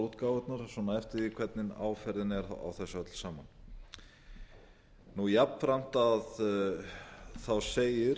útgáfurnar svona eftir því hvernig áferðin er á þessu öllu saman jafnframt segir